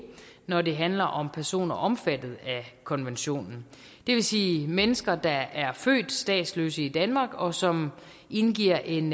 når det handler om personer omfattet af konventionen det vil sige mennesker der er født statsløse i danmark og som indgiver en